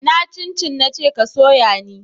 Ina cin cin na ce ka soya ni?